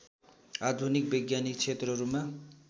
आधुनिक वैज्ञानिक क्षेत्रहरूमा